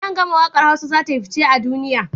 Nan gama waƙar hausa zatayi fice a duniya